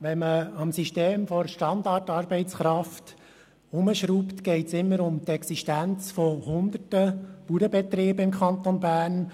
Wenn man am System der «Standardarbeitskraft» herumschraubt, geht es immer auch um die Existenz Hunderter Bauernbetriebe im Kanton Bern.